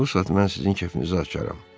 Bu saat mən sizin kefinizi açaram.